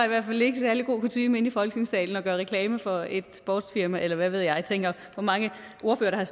ikke særlig god kutyme inde i folketingssalen at gøre reklame for et sportsfirma eller hvad ved jeg jeg tænker hvor mange ordførere har